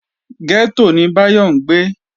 Gẹ́tò ni Báyọ̀ ń gbé